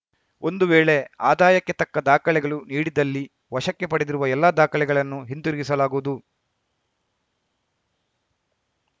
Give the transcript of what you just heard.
ಒಂದು ವೇಳೆ ಆದಾಯಕ್ಕೆ ತಕ್ಕ ದಾಖಲೆಗಳು ನೀಡಿದ್ದಲ್ಲಿ ವಶಕ್ಕೆ ಪಡೆದಿರುವ ಎಲ್ಲಾ ದಾಖಲೆಗಳನ್ನು ಹಿಂತಿರಿಸಲಾಗುವುದು